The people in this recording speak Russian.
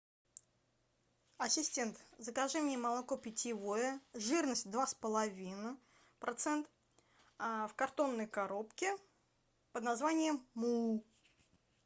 ассистент закажи мне молоко питьевое жирность два с половиною процент в картонной коробке под названием му